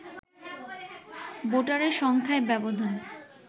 ভোটারের সংখ্যায় ব্যবধান